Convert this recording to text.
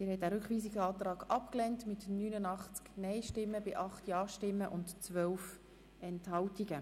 Sie haben diesen Rückweisungsantrag abgelehnt mit 89 Nein- gegen 8 Ja-Stimmen bei 12 Enthaltungen.